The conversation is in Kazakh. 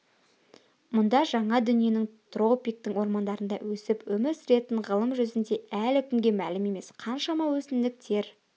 мұнда жаңа дүниенің тропиктік ормандарында өсіп өмір сүретін ғылым жүзінде әлі күнге мәлім емес қаншама өсімдіктер